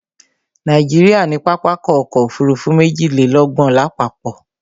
Nàìjíríà ní pápákọ̀ ọ̀kọ òfurufú méjìlélọ́gbọ̀n lápapọ̀